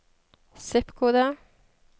zip-kode